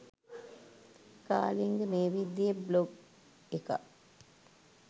කාලිංග මේ විදියේ බ්ලොග් එකක්